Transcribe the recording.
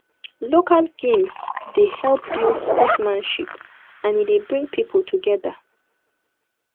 local games dey help build sportmanship and e dey bring pipo together